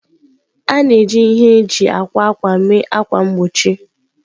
A na-eji ihe eji akwa ákwà mee ákwà mgbochi.